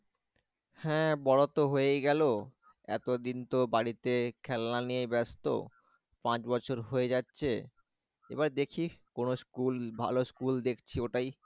হ্যাঁ বড় তো হয়েই গেল এতদিন তো বাড়িতে খেলনা নিয়ে ব্যস্ত পাঁচ বছর হয়ে যাচ্ছে এবার দেখি কোন school ভালো school দেখছি ওটাই